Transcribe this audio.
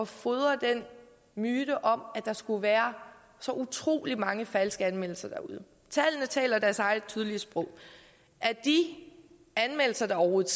fodre den myte om at der skulle være så utrolig mange falske anmeldelser derude tallene taler deres eget tydelige sprog af de anmeldelser der overhovedet